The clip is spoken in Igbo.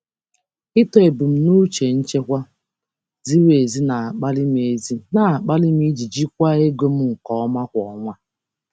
Ịtọ ebumnuche nchekwa ziri ezi na-akpali m ezi na-akpali m iji jikwaa ego m nke ọma kwa ọnwa.